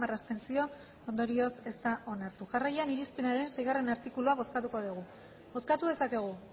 abstentzio ondorioz ez da onartu jarraian irizpenaren seigarrena artikulua bozkatuko dugu bozkatu dezakegu